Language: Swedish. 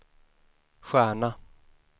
stjärna